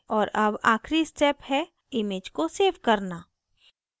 और अब आखिरी step है image को सेव करना